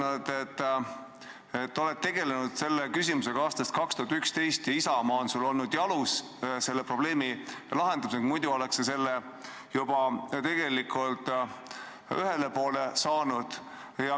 Sa oled ütelnud, et oled tegelenud selle küsimusega aastast 2011 ja Isamaa on sul olnud selle probleemi lahendamisel jalus, muidu oleks sa sellega juba tegelikult ühele poole saanud.